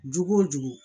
Jogo o dugu